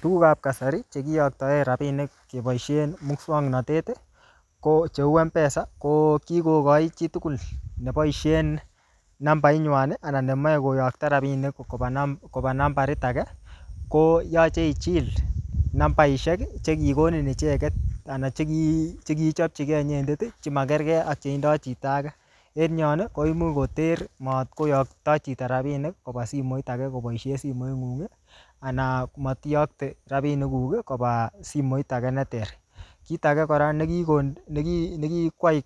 Tugukab kasari, che kiyoktoen rabinik keboisien muswoknotet, ko cheu Mpesa, ko kikochi chitugul neboisien nambait nywan, anan nemeche koyokto rabinik koba namb-koba nambarit age, koyache ichil namabishek che kikonin icheket, anan cheki-chekichopchikei inyendet, che makergei ak che tindoi chito age. Eng yon, koimuch koter matkoyokto chito rabinik koba simoit age koboisie simoit ng'ung, anan matiyokte rabinik kuk koba simoit age ne ter. Kit age kora nekikon neki-nekikwai